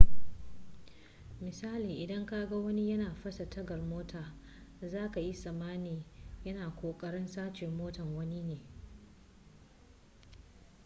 misali idan kaga wani yana fasa tagar mota za ka yi tsammani ya na kokarin sace motar wani ne